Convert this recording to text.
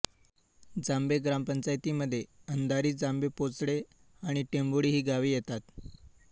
जांभे ग्रामपंचायतीमध्ये अंधारी जांभेपोचडे आणि टेंभोळी ही गावे येतात